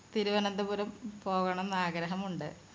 തിരുവനന്തപുരം പോകണംന്ന് ആഗ്രഹം ഉണ്ട്